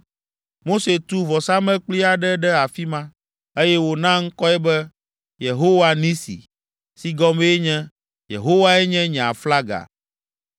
Mose tu vɔsamlekpui aɖe ɖe afi ma, eye wòna ŋkɔe be “Yehowa Nisi” si gɔmee nye “Yehowae nye nye aflaga.”